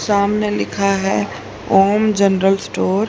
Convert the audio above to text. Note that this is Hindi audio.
सामने लिखा है ओम जनरल स्टोर ।